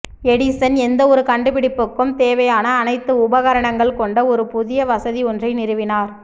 Edison எந்த ஒரு கண்டுபிடிப்புக்கும் தேவையான அனைத்து உபகரணங்கள் கொண்ட ஒரு புதிய வசதி ஒன்றை நிறுவினார்